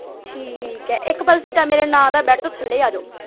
ਠੀਕ ਆ ਇਕ ਬੈਡ ਤੋਂ ਥੱਲੇ ਹੀ ਆਜੋ।